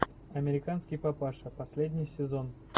американский папаша последний сезон